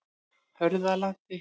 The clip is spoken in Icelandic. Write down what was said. Hörðalandi